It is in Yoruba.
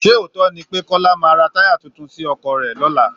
Sé òótọ́ ni pé Kọ́lá maá ra táyà tuntun sí ọkọ̀ rẹ̀ lọ́la